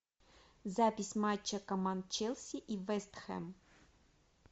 запись матча команд челси и вест хэм